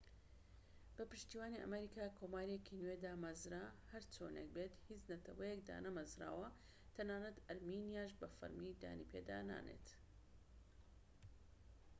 بە پشتیوانی ئەمریکا کۆماریەکی نوێ دامەزرا هەرچۆنێک بێت هیچ نەتەوەیەک دانەمەزراوە تەنانەت ئەرمینیاش بە فەرمی دانی پێدانانێت